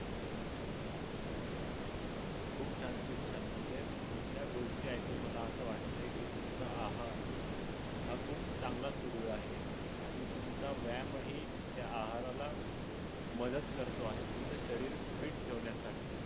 खूप छान खूप छान म्हणजे तुमच्या गोष्टी ऐकून मला आस वाटतय की तुमचा आहार हा खूप चांगला सुरू आहे आणि तुमचा व्यायाम ही त्या आहाराला मदत करतो आहे तुमच शरीर fit ठेवण्यासाठी.